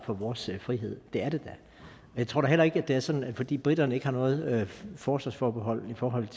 for vores frihed det er det da jeg tror da heller ikke at det er sådan at fordi briterne ikke har noget forsvarsforbehold i forhold